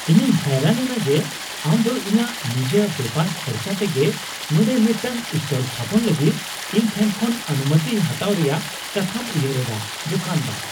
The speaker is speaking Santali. ᱤᱧᱤᱧ ᱦᱟᱭᱨᱟᱱ ᱮᱱᱟ ᱡᱮ ᱟᱢ ᱫᱚ ᱤᱧᱟᱜ ᱱᱤᱡᱟᱹ ᱵᱮᱯᱟᱨ ᱠᱷᱚᱨᱪᱟ ᱛᱮᱜᱮ ᱱᱚᱰᱮ ᱢᱤᱫᱴᱟᱝ ᱥᱴᱚᱞ ᱛᱷᱟᱯᱚᱱ ᱞᱟᱹᱜᱤᱫ ᱤᱧ ᱴᱷᱮᱱ ᱠᱷᱚᱱ ᱚᱱᱩᱢᱚᱛᱤ ᱦᱟᱛᱟᱣ ᱨᱮᱭᱟᱜ ᱠᱟᱛᱷᱟᱢ ᱩᱭᱦᱟᱹᱨᱮᱫᱼᱟ ᱾ (ᱫᱚᱠᱟᱱᱫᱟᱨ)